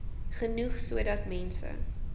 genoeg sodat mense